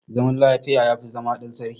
Zama lafiya, ya fi zama ɗan sarki.